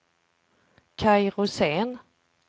Kaj Rosén